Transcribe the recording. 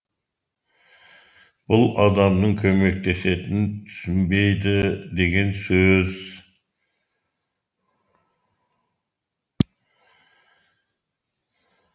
бұл адамның көмектесетінін түсінбейді деген сөз